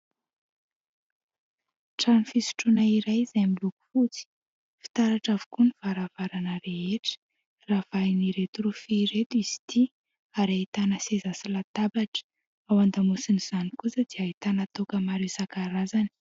Trano fisotroana iray izay miloko fotsy, fitaratra avokoa ny varavarana rehetra ravahan'ireto rofia ireto izy ity ary ahitana seza sy latabatra, ao an-damosiny izany kosa dia ahitana toaka maro isan-karazany.